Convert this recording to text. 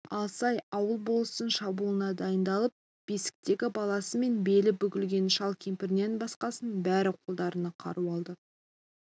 алсай ауылы болыстың шабуылына дайындалып бесіктегі баласы мен белі бүгілген шал-кемпірінен басқасының бәрі қолдарына қару алды